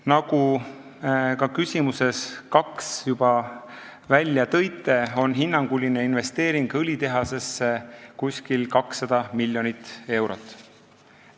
Nagu te küsimuses nr 2 juba välja tõite, on hinnanguline investeering õlitehasesse umbes 200 miljonit eurot.